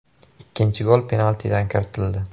Ikkinchi gol penaltidan kiritildi.